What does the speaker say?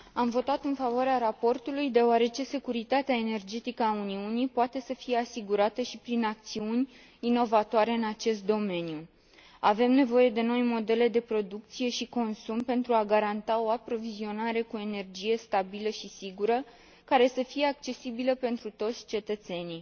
Mulțumesc, domnule președinte. Am votat în favoarea raportului, deoarece securitatea energetică a Uniunii poate să fie asigurată și prin acțiuni inovatoare în acest domeniu. Avem nevoie de noi modele de producție și consum pentru a garanta o aprovizionare cu energie stabilă și sigură, care să fie accesibilă pentru toți cetățenii.